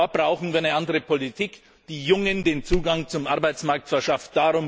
Da brauchen wir eine andere Politik, die Jungen den Zugang zum Arbeitsmarkt verschafft.